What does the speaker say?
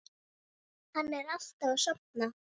Hann er alltaf að sofna.